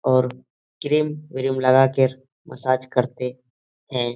और क्रीम व्रिम लगा कर मसाज करते हैं।